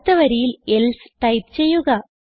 അടുത്ത വരിയിൽ else type ചെയ്യുക